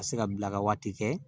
Ka se ka bila ka waati kɛ